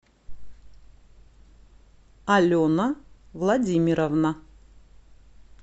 алена владимировна